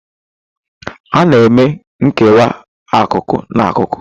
A na eme nkewa akụkụ na akụkụ.